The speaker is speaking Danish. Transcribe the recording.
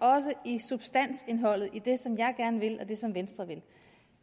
også i substansindholdet i det som jeg gerne vil og det som venstre vil